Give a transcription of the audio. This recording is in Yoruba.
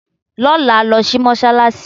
Lọ́la, lọ sí Mọ́ṣálásí!